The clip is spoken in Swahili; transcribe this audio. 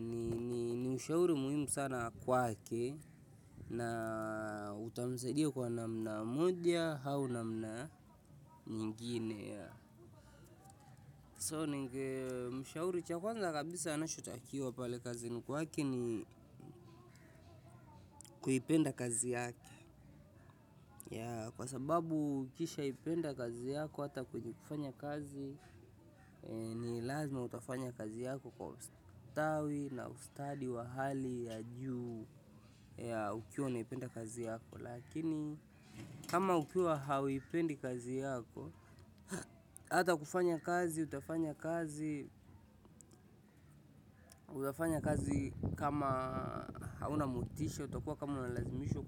ni ushauri muhimu sana kwake na utamsaidia kwa namna moja au namna nyingine. So ningependa kumshauri cha kwanza kabisa anachotakiwa pale kazini ni kwake ni kuipenda kazi yake. Kwa sababu ukishaipenda kazi yako, hata kwenye kufanya kazi, ni lazima utafanya kazi yako kwa ustawi na ustadi wa hali ya juu. Ya ukiwa unaipenda kazi yako. Lakini kama ukiwa huipendi kazi yako, hata kufanya kazi, utafanya kazi, utafanya kazi kama hauna motisha. Utakuwa kama unalazimishwa.